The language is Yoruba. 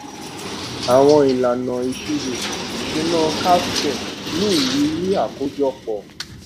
àwọn ìlànà ìṣirò ìṣúná capstone ní ìrírí àkójọpọ